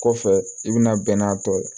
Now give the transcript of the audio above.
Kɔfɛ i bɛna bɛn n'a tɔ ye